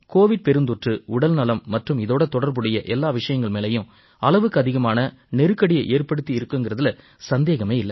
Covid பெருந்தொற்று உடல்நலம் மற்றும் இதோட தொடர்புடைய எல்லா விஷயங்கள் மேலயும் அளவுக்கு அதிகமான நெருக்கடியை ஏற்படுத்தி இருக்குங்கறதுல சந்தேகமே இல்லை